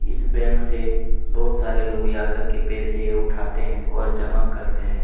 इस बैंक से बहुत सारे लोग आकर के पैसे उठाते हैं और जमा करते हैं।